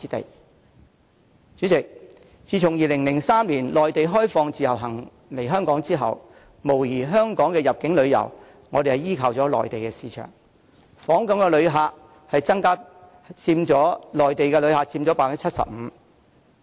代理主席，自2003年內地開放讓自由行旅客來港後，香港入境旅遊業無疑依靠了內地市場，訪港旅客中有超過 75% 為內地旅客。